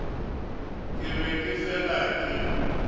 ke be ke fela ke